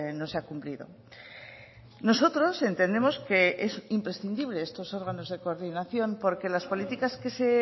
no se ha cumplido nosotros entendemos que es imprescindible estos órganos de coordinación porque las políticas que se